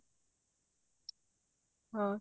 ਹਾਂ